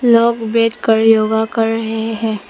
लोग बैठ कर योगा कर रहे हैं।